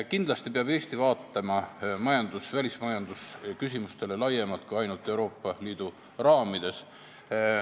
Kindlasti peab Eesti vaatama välismajanduse küsimustele laiemalt kui ainult Euroopa Liidu raamides.